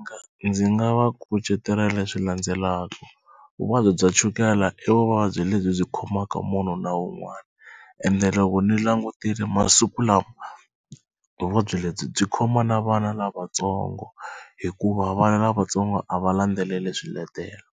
nga ndzi nga va kucetela leswi landzelaka vuvabyi bya chukela i vuvabyi lebyi byi khomaka munhu na wun'wani ende loko ni langutile masiku lawa vuvabyi lebyi byi khoma na vana lavatsongo hikuva vana lavatsongo a va landzeleli swiletelo